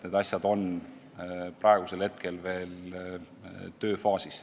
Need asjad on veel tööfaasis.